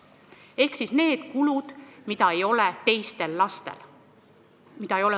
Need lisakulud on kulud, mida ei ole teistel lastel .